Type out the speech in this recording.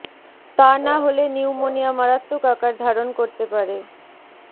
তা না হলে নিউমোনিয়া মারাত্মক আকার ধারণ করতে পারে